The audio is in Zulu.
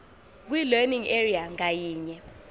kwilearning area ngayinye